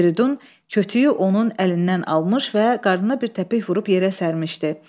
Fridun kötüyü onun əlindən almış və qarnına bir təpik vurub yerə sərmişdi.